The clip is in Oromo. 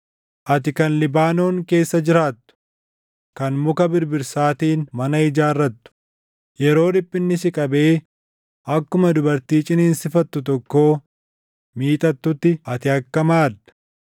Ati kan Libaanoon keessa jiraattu, kan muka birbirsaatiin mana ijaarrattu, yeroo dhiphinni si qabee akkuma dubartii ciniinsifattu tokkoo miixattutti ati akkam aadda!